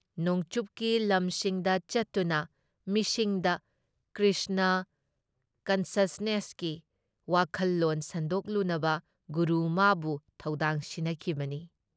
ꯅꯣꯡꯆꯨꯞꯀꯤ ꯂꯝꯁꯤꯡꯗ ꯆꯠꯇꯨꯅ ꯃꯤꯁꯤꯡꯗ ꯀ꯭ꯔꯤꯁꯅ ꯀꯟꯁꯁꯅꯦꯁꯀꯤ ꯋꯥꯈꯜꯂꯣꯟ ꯁꯟꯗꯣꯛꯂꯨꯅꯕ ꯒꯨꯔꯨ ꯃꯥꯕꯨ ꯊꯧꯗꯥꯡ ꯁꯤꯟꯅꯈꯤꯕꯅꯤ ꯫